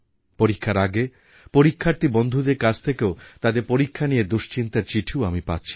পরীক্ষার আগে পরীক্ষার্থী বন্ধুদের কাছ থেকেও তাদের পরীক্ষা নিয়ে দুশ্চিন্তার চিঠিও আমি পাচ্ছি